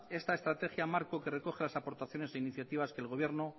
esta estrategia marco que recoge las aportaciones e iniciativas que el gobierno